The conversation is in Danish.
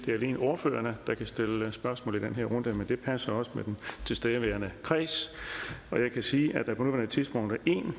det alene er ordførerne der kan stille spørgsmål i den her runde men det passer også med den tilstedeværende kreds og jeg kan sige at der på nuværende tidspunkt er en